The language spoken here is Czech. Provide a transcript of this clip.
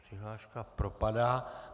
Přihláška propadá.